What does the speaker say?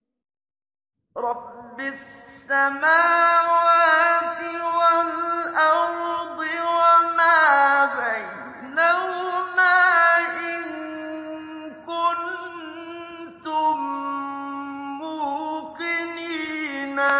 رَبِّ السَّمَاوَاتِ وَالْأَرْضِ وَمَا بَيْنَهُمَا ۖ إِن كُنتُم مُّوقِنِينَ